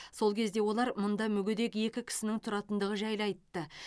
сол кезде олар мұнда мүгедек екі кісінің тұратындығы жайлы айтты